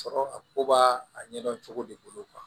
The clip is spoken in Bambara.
Sɔrɔ a ko b'a a ɲɛdɔn cogo de bolo